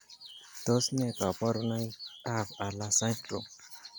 Tos nee koborunoikab Hurler syndrome?